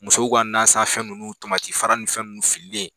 Musow ka nasanfɛn ninnu tamatifara ni fɛn minnu fililen